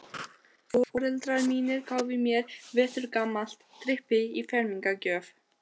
Foreldrar mínir gáfu mér veturgamalt trippi í fermingargjöf.